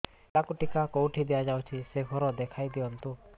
ପିଲାକୁ ଟିକା କେଉଁଠି ଦିଆଯାଉଛି ସେ ଘର ଦେଖାଇ ଦିଅନ୍ତୁ